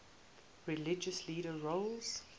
religious leadership roles